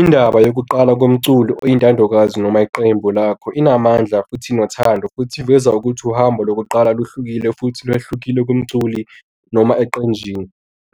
Indaba yokuqala komculo oyintandokazi noma iqembu lakho inamandla futhi inothando futhi iveza ukuthi uhambo lokuqala luhlukile futhi kwehlukile kumculi noma eqenjini.